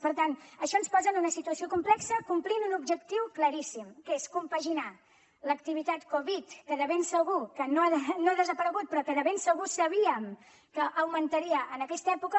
per tant això ens posa en una situació complexa per complir un objectiu claríssim que és compaginar l’activitat covid que de ben segur que no ha desaparegut però que de ben segur sabíem que augmentaria en aquesta època